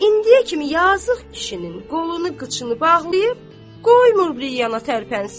İndiyə kimi yazıq kişinin qolunu qıçını bağlayıb, qoymur bir yana tərpənsin.